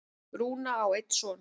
Rúna á einn son.